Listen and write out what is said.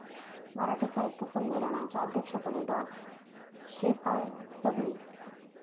मराठी साहित्य संमेलनाच्या अध्यक्षपदी डॉ. श्रीपाल सबनीस